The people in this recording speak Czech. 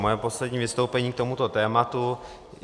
Moje poslední vystoupení k tomuto tématu.